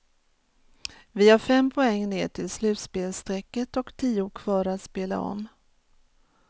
Vi har fem poäng ner till slutspelsstrecket och tio kvar att spela om.